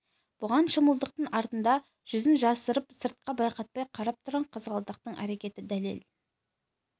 бұған шымылдықтың артында жүзін жасырып сыртқа байқатпай қарап тұрған қызғалдақтың әрекеті дәлел